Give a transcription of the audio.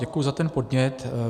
Děkuji za ten podnět.